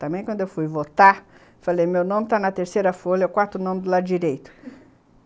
Também quando eu fui votar, falei, meu nome está na terceira folha, eu corto o nome do lado direito